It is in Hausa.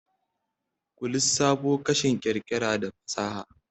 ku lissafo kashin ƙirƙira da fasaha?